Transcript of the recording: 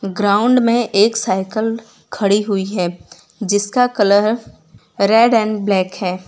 Ground में एक cycle खड़ी हुई है जिसका कलर रेड एंड ब्लैक है।